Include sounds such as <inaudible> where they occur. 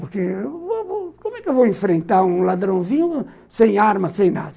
Por que <unintelligible> como é que eu vou enfrentar um ladrãozinho sem arma, sem nada?